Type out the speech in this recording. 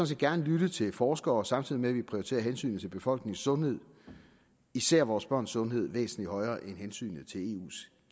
set gerne lytte til forskere samtidig med at vi prioriterer hensynet til befolkningens sundhed især vores børns sundhed væsentlig højere end hensynet til eus